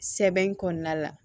Sɛbɛn kɔnɔna la